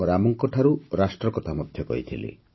ରାମଙ୍କଠାରୁ ରାଷ୍ଟ୍ର କଥା କହିଥିଲି